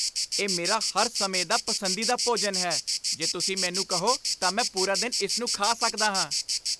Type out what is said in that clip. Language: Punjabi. ਇਹ ਮੇਰਾ ਹਰ ਸਮੇਂ ਦਾ ਪਸੰਦੀਦਾ ਭੋਜਨ ਹੈ, ਜੇ ਤੁਸੀਂ ਮੈਨੂੰ ਕਹੋ, ਤਾਂ ਮੈਂ ਪੂਰਾ ਦਿਨ ਇਸ ਨੂੰ ਖਾ ਸਕਦਾ ਹਾਂ।